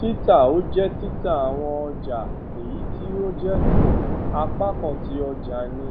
tita o je tita awọn ọja eyiti o jẹ um apakan ti ọjani